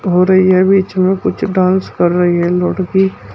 हो रही है बीच में कुछ डांस कर रही है लड़की।